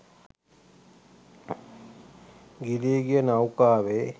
ගිලී ගිය නෞකාවේ